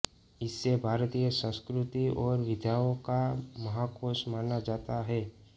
इसे भारतीय संस्कृति और विद्याओं का महाकोश माना जाता है